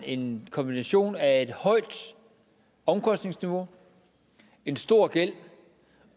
en kombination af et højt omkostningsniveau en stor gæld